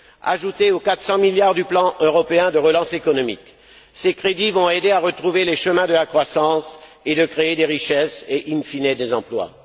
Ajoutés aux 400 milliards du Plan européen de relance économique, ces crédits vont aider à retrouver les chemins de la croissance et à créer des richesses et, in fine des emplois.